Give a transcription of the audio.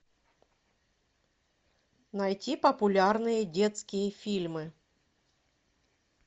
найти популярные детские фильмы